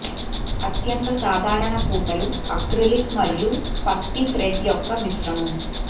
అత్యంత సాధారణ పూతలు అక్రిలిక్ మరియు పత్తి థ్రెడ్ యొక్క మిశ్రమం